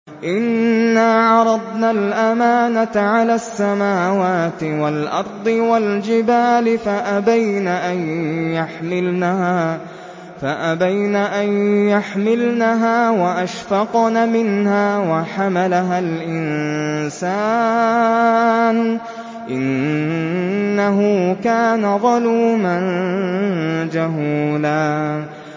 إِنَّا عَرَضْنَا الْأَمَانَةَ عَلَى السَّمَاوَاتِ وَالْأَرْضِ وَالْجِبَالِ فَأَبَيْنَ أَن يَحْمِلْنَهَا وَأَشْفَقْنَ مِنْهَا وَحَمَلَهَا الْإِنسَانُ ۖ إِنَّهُ كَانَ ظَلُومًا جَهُولًا